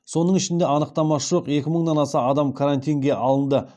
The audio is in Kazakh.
соның ішінде анықтамасы жоқ екі мыңнан аса адам карантинге алынды